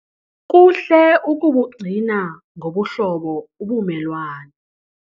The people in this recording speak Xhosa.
Kuhle ukubugcina ngobuhlobo ubumelwane.